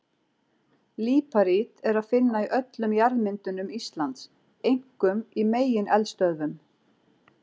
Líparít er að finna í öllum jarðmyndunum Íslands, einkum í megineldstöðvum.